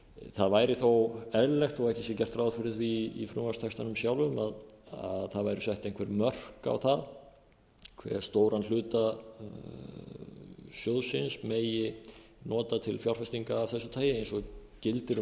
það væri þó eðlilegt þó ekki sé gert ráð fyrir því í frumvarpstextanum sjálfum að það væru sett einhver mörk á það hve stóran hluta sjóðsins megi nota til fjárfestinga af þessu tagi eins og gildir um